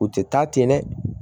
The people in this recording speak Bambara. U tɛ taa ten dɛ